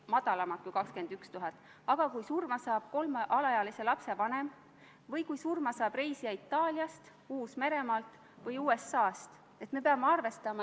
Mina kannan siin ette komisjoni seisukohta, ma ei saa kommenteerida oma isiklikke vaateid, aga olen korranud neid sõnu, mida ütles meile eile Kaitseväe juhataja.